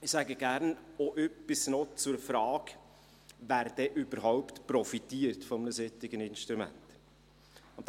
Ich sage gerne auch noch etwas zur Frage, wer denn überhaupt von einem solchen Instrument profitiert.